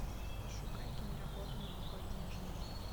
пошукай киноработу новогодняя жена